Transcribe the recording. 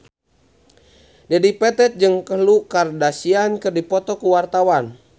Dedi Petet jeung Khloe Kardashian keur dipoto ku wartawan